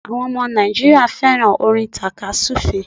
Áwon omo Nàìjíríà féràn orin tàka súfè é